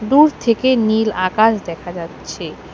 দূর থেকে নীল আকাশ দেখা যাচ্ছে।